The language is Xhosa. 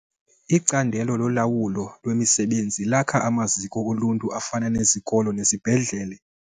Icandelo lolawulo lwemisebenzi lakha amaziko oluntu afana nezikolo nezibhedlele.